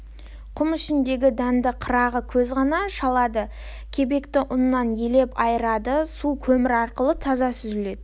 құм ішіндегі дәнді қырағы көз ғана шалады кебекті ұннан елеп айырады су көмір арқылы таза сүзіледі